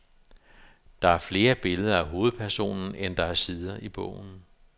Der er flere billeder af hovedpersonen, end der er sider i bogen.